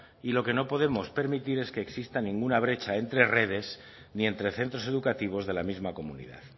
y lo que no podemos permitir es que exista ninguna brecha entre redes ni entre centros educativos de la misma comunidad